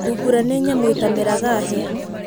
Thungura nĩ nyamũ ĩtameraga hĩa.